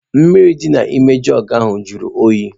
Mmiri dị n'ime jugu ahụ jụrụ oyi.